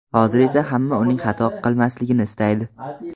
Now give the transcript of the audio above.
Hozir esa hamma uning xato qilmasligini istaydi.